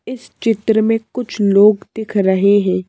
इस चित्र में कुछ लोग दिख रहे हैं।